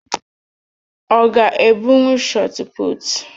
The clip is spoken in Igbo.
Ọ ga-ebunwu shọtputu?